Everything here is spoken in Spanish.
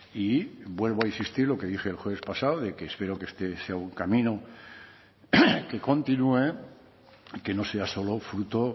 y vuelvo a insistir lo que dije el jueves pasado de que espero que este sea un camino que continúe que no sea solo fruto